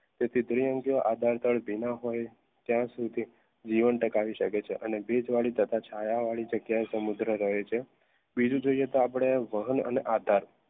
તેથી દ્વિઅંગી આધાર ભીના હોય ત્યાં સુધી જીવન ટકાવી શકે છે અને ભેજ વાડી તથા છાયા વાળી જગ્યા સમુદ્ર રહે છે બીજો જોયો તો આપણે વહન અને આધાર